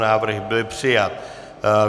Návrh byl přijat.